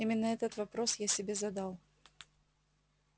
именно этот вопрос я себе задал